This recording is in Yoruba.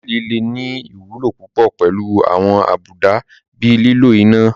Tábìlì lè ní ìwúlò púpọ̀ pẹ̀lú àwọn àbùdá bíi lílo iná